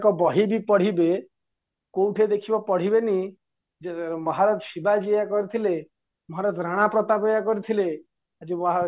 ତାଙ୍କ ବହିବି ପଢିବେ କୋଉଠି ଦେଖିବ ପଢିବେନି ଜେ ମହାରାଜା ଶିବାଜୀ ଏଇଆ କରିଥିଲେ ମହାରାଜା ଭ୍ରଣପ୍ରତାପ ଏଇଆ କରିଥିଲେ ଆଜି